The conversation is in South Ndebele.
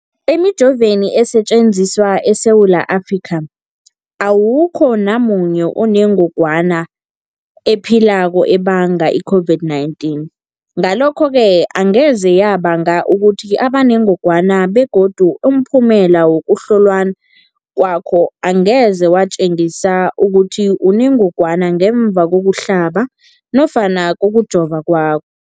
Emijoveni esetjenziswa eSewula Afrika, awukho namunye onengog wana ephilako ebanga i-COVID-19. Ngalokho-ke angeze yabanga ukuthi ubenengogwana begodu umphumela wokuhlolwan kwakho angeze watjengisa ukuthi unengogwana ngemva kokuhlaba nofana kokujova kwakho.